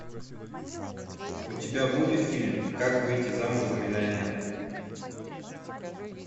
у тебя будет фильм как выйти замуж за миллионера